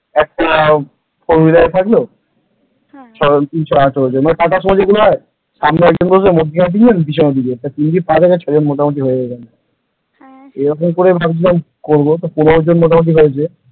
একটা four wheeler থাকলো তিন ছই আঠেরো জন আর টাটার শুম যেগুলো হয় সামনে একজন মধ্যেখানে তিনজন পিছনে দুজন তিন থেকে ছয় জন মোটামুটি হয়ে যায় । এরকম করে ভাবছিলাম করব মোটামুটি পনের জন হয়েছে ।